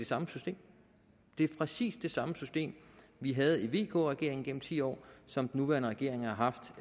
samme system det er præcis det samme system vi havde i vk regeringen gennem ti år som den nuværende regering har haft